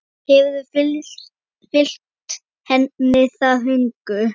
Hefur fylgt henni það hungur.